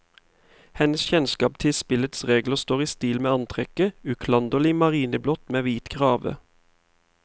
Hennes kjennskap til spillets regler står i stil med antrekket, uklanderlig marineblått med hvit krave.